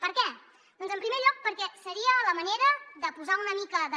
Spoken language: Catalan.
per què doncs en primer lloc perquè seria la manera de posar una mica de